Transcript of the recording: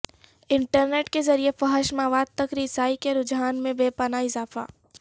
internet کے ذریعے فحش مواد تک رسائی کے رجحان میں بے پناہ اضافہ